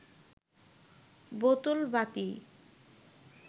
বোতল বাতি